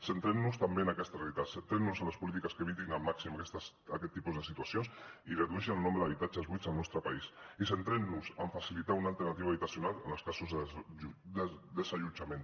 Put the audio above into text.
centrem nos també en aquesta realitat centrem nos en les polítiques que evitin al màxim aquest tipus de situacions i redueixin el nombre d’habitatges buits al nostre país i centrem nos en facilitar una alternativa habitacional en els casos de desallotjament